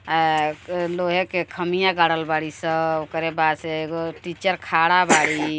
आ लोहे के खामिया गाड़ल बाड़ी स। ओकरे बाद से एगो टीचर खड़ा बाड़ी।